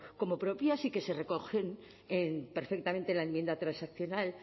como propias y que se recogen perfectamente en la enmienda transaccional